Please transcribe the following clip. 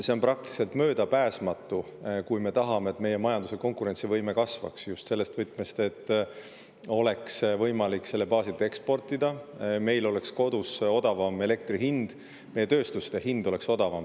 See on praktiliselt möödapääsmatu, kui me tahame, et meie majanduse konkurentsivõime kasvaks just selles võtmes, et oleks võimalik selle baasilt eksportida, et meil oleks kodus odavam elekter ja meie tööstus hind oleks odavam.